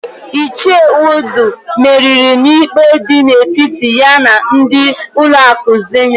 Ichie Udu meriri n'ikpe dị n'etiti ya na ndị ụlọakụ Zenit.